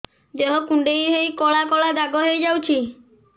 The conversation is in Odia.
ଦେହ କୁଣ୍ଡେଇ ହେଇ କଳା କଳା ଦାଗ ହେଇଯାଉଛି